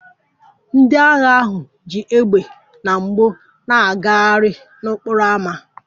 Ndị agha ahụ ji égbè na mgbọ na-agagharị n'okporo ámá